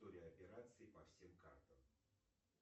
история операций по всем картам